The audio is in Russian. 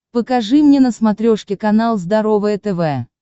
покажи мне на смотрешке канал здоровое тв